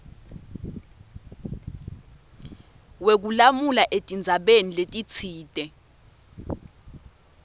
wekulamula etindzabeni letitsite